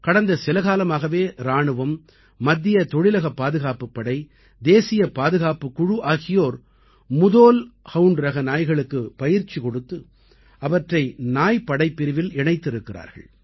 கடந்த சில காலமாகவே இராணுவம் மத்திய தொழிலக பாதுகாப்புப் படை தேசியப் பாதுகாப்புக் குழு ஆகியோர் முதோல் ஹவுண்ட் ரக நாய்களுக்குப் பயிற்சி கொடுத்து அவற்றை நாய் படைப்பிரிவில் இணைத்திருக்கிறார்கள்